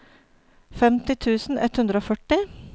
femti tusen ett hundre og førti